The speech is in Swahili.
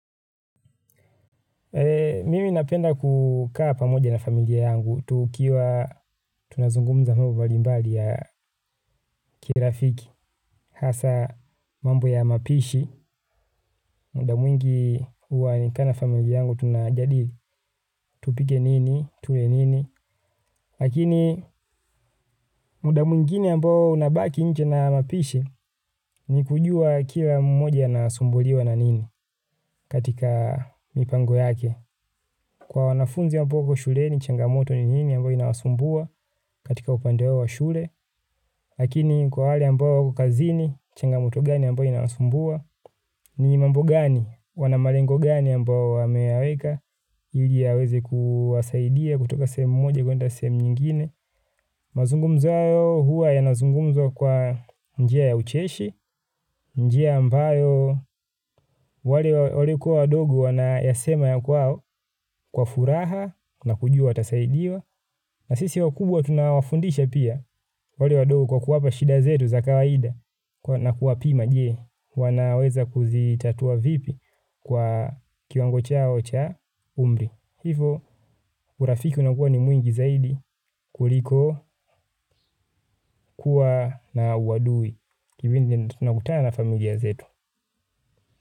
Mimi napenda kukaa pamoja na familia yangu. Tukiwa tunazungumza mambo mbalimbali ya kirafiki. Hasa mambo ya mapishi. Muda mwingi huwa nikikaa na familia yangu tunajadili. Tupike nini, tule nini. Lakini muda mwingine ambao unabaki nje na mapishi ni kujua kila mmoja anasumbuliwa na nini katika mipango yake. Kwa wanafunzi ambao wako shuleni changamoto ni nyingi ambayo inawasumbua katika upande wao wa shule. Lakini kwa wale ambao wako kazini, changamoto gani ambayo inawasumbua, ni mambo gani? Wana malengo gani ambayo wameyaweka? Ili yaweze kuwasaidia kutoka sehemu moja kuenda sehemu nyingine. Mazungumzo yao huwa yanazungumzwa kwa njia ya ucheshi. Njia ambayo wale waliokuwa wadogo wanayasema ya kwao, kwa furaha na kujua watasaidiwa. Na sisi wakubwa tunawafundisha pia wale wadogo kwa kuwapa shida zetu za kawaida. Na kuwapima je, wanaweza kuzitatua vipi kwa kiwango chao cha umri. Hivyo urafiki unakuwa ni mwingi zaidi kuliko kuwa na uadui kipindi tunakutana na familia zetu.